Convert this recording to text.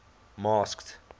masked